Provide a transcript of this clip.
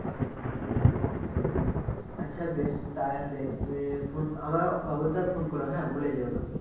আচ্ছা বেশ তাই হবে তুমি Phone আমায় খোবদদার Phone করো হ্যাঁ ভুলে যেওনা